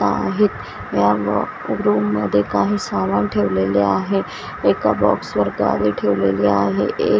आहेत या रूम मध्ये काही सामान ठेवलेले आहे एका बॉक्स वर ट्रॉली ठेवलेली आहे ए --